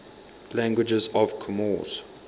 languages of comoros